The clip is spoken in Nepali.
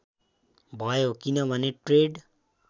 भयो किनभने ट्रेड